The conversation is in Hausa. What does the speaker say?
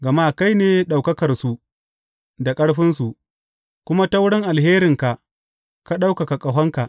Gama kai ne ɗaukakarsu da ƙarfinsu, kuma ta wurin alherinka ka ɗaukaka ƙahonka.